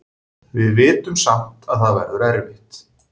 Við vitum samt að það verður erfitt.